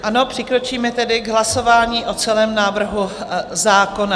Ano, přikročíme tedy k hlasování o celém návrhu zákona.